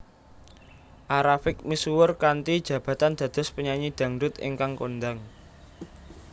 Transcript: A Rafiq misuwur kanthi jabatan dados penyanyi dhangdhut ingkang kondhang